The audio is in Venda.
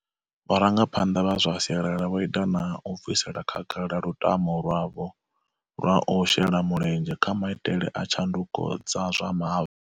Vha rangaphanḓa vha zwa sialala vho ita na u bvisela khagala lutamo lwavho lwa u shela mulenzhe kha maitele a tshanduko dza zwa mavu.